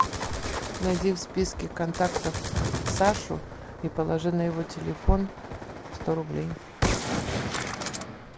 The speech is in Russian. найди в списке контактов сашу и положи на его телефон сто рублей